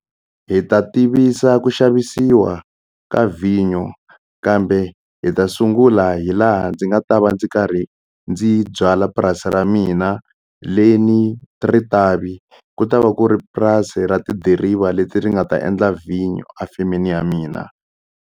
Hi ta tivisa ku xavisiwa ka vhinyo kambe hi ta sungula hi laha ndzi nga ta va ndzi karhi ndzi byala purasi ra mina leni rivati ku ta va ku ri purasi ra tidiriva leti ri nga ta endal vhinyu a femeni ya mina